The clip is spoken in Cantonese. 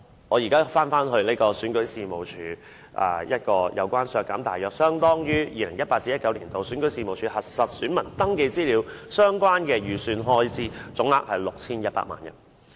我現在返回討論選舉事務處，我要求削減大約相當於 2018-2019 年度選舉事務處核實選民登記資料相關的預算開支，總額是 6,100 萬元。